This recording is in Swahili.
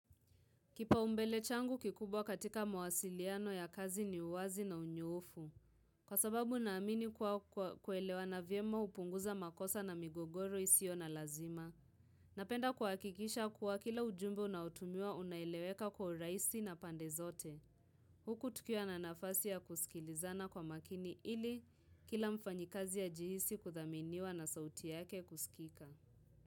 Kipaumbele changu kikubwa katika mwasiliano ya kazi ni uwazi na unyoofu. Kwa sababu naamini kuwa kuelewana vyema upunguza makosa na migogoro isio na lazima. Napenda kuhakikisha kuwa kila ujumbe unaotumiwa unaeleweka kwa urahisi na pande zote. Huku tukiwa na nafasi ya kusikilizana kwa makini ili kila mfanyikazi ajihisi kuthaminiwa na sauti yake kusikika.